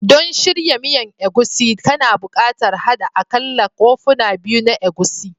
Don shirya miyan egusi, kana buƙatar haɗa aƙalla kofuna biyu na egusi